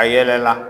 A yɛlɛla